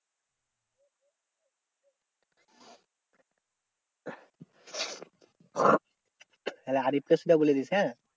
তাহলে হরিফ কে একটু বলে দিস হ্যাঁ?